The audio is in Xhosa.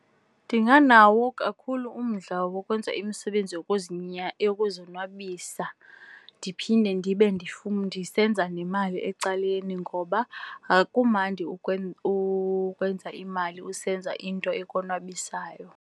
Ndinganawo kakhulu umdla wokwenza imisebenzi yokuzonwabisa ndiphinde ndibe ndisenza nemali ecaleni ngoba kumandi ukwenza imali usenza into ekonwabisayo.